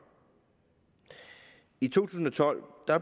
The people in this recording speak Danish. i to tusind og tolv